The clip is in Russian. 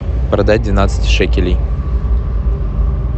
продать двенадцать шекелей